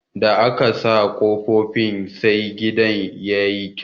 Da aka saka kofifin sai ginin tayi kyau.